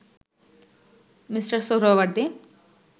Mr Suhrawardy